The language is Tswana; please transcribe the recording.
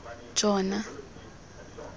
jona